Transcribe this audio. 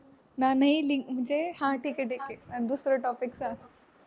नाही नाही म्हणजे हां ठीक आहे ठीक आहे दुसरं topic सांग.